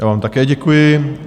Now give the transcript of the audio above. Já vám také děkuji.